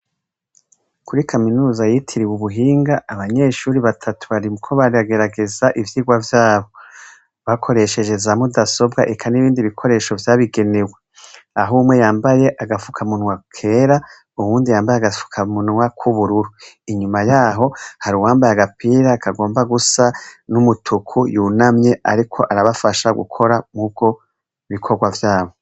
Kuri kaminuza yitiriwe Ubuhinga, abanyeshure batatu bariko baragerageza ivyigwa vyabo bakoresheje za mudasobwa n'ibindi bikoresho vyabigenewe aho umwe yambaye agapfukamunwa kera, uwundi yambaye agapfukamunwa k'ubururu. Inyuma y'aho, hari uwambaye agapira kigomba gusa n'umutuku yunamye ariko arabafasha gukora ivyo bikorwa vyabo.